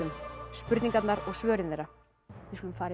spurningarnar og svörin þeirra við skulum fara yfir